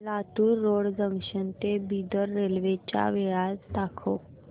Latur road junction ते Bidar railway च्या वेळा दाखव